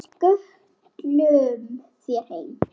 Við skutlum þér heim!